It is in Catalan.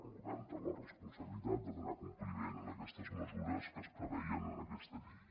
el govern té la responsabilitat de donar compliment a aquestes mesures que es preveien en aquesta llei